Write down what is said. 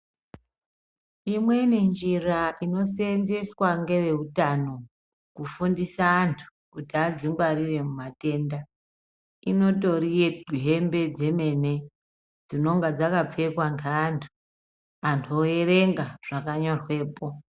Imweni njira inoseenzweswa ngeveutano kufundisa antu kuti adzingwarire mumatenda inotori yehembe dzemene dzinenge dzakapfekwa ngeantu antu oerenga zvakanyorwepo.